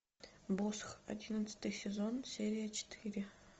босх одиннадцатый сезон серия четыре